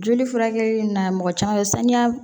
Joli furakɛli na mɔgɔ caman sanuya